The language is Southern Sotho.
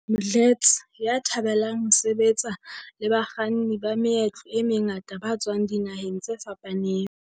Mdletshe, ya thabelang ho sebetsa le bakganni ba meetlo e mengata ba tswang dinaheng tse fapaneng.